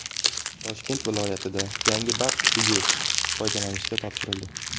Toshkent viloyatida yangi baxt uyi foydalanishga topshirildi.